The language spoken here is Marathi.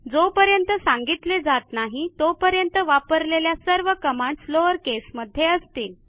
जोपर्यंत सांगितले जात नाही तोपर्यंत वापरलेल्या सर्व कमांडस लोअर केसमध्ये असतील